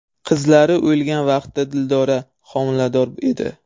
Qizlari o‘lgan vaqtda Dildora homilador edi.